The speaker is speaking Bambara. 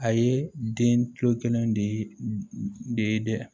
A ye den kilo kelen de ye dɛ